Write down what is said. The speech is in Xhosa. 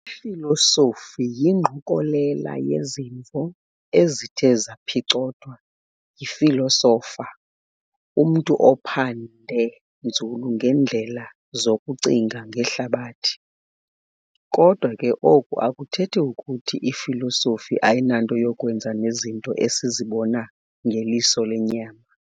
Ifilosofi yingqokolela yezimvo, ezithe zaphicothwa yifilosofa, umntu ophande nzulu ngeendlela zokucinga ngehlabathi. Kodwa ke oku akuthethi kuthi ifilosofi ayinanto yakwenza nezinto esizibona ngeliso lenyama.